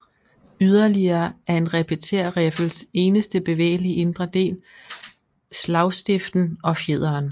Yderligere er en repetérriffels eneste bevægelige indre del slagstiften og fjederen